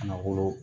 Ka na wolo